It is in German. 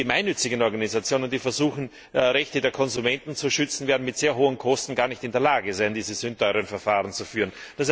Und die gemeinnützigen Organisationen, die versuchen, Rechte der Konsumenten zu schützen, werden aufgrund der sehr hohen Kosten gar nicht in der Lage sein, diese sündteuren Verfahren zu führen.